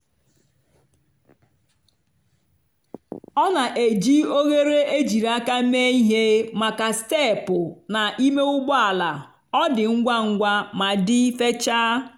ọ na-eji oghere ejiri aka mee ihe maka steepụ na ime ụgbọ ala - ọ dị ngwa ngwa ma dị fechaa.